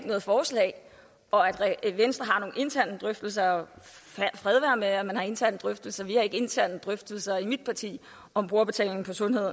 noget forslag og at venstre har nogle interne drøftelser og fred være med at man har interne drøftelser vi har ikke interne drøftelser i mit parti om brugerbetaling på sundhed